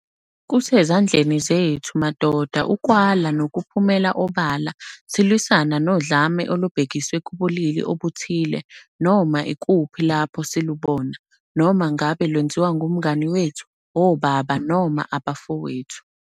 Kusezandleni zethu madoda ukwala nokuphumela obala silwisana nodlame olubhekiswe kubulili obuthile noma ikuphi lapho silubona, noma ngabe lwenziwa ngumngani wethu, obaba noma abafowethu.